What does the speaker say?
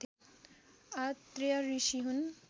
आत्रेय ऋषि हुन्।